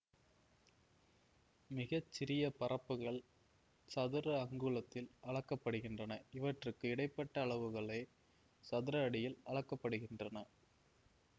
மிக சிறிய பரப்புகள் சதுர அங்குலத்தில் அளக்க படுகின்றன இவற்றுக்கு இடை பட்ட அளவுகளே சதுர அடியில் அளக்க படுகின்றன